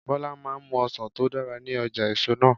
Bọlá máa ń mú ọsàn tó dára ní ọjà èso náà.